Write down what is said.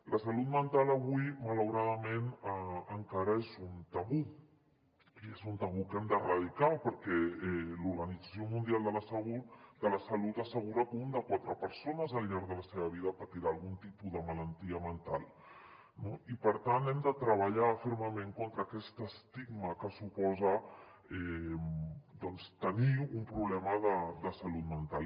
la salut mental avui malauradament encara és un tabú i és un tabú que hem d’erradicar perquè l’organització mundial de la salut assegura que una de quatre persones al llarg de la seva vida patirà algun tipus de malaltia mental no i per tant hem de treballar fermament contra aquest estigma que suposa tenir un problema de salut mental